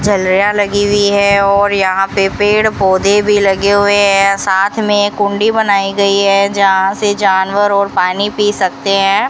झलरिया लगी हुई है और यहां पे पेड़ पौधे भी लगे हुए हैं साथ में कुंडी बनाई गई है जहां से जानवर और पानी पी सकते हैं।